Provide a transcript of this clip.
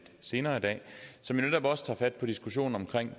senere i dag som netop også tager fat på diskussionen om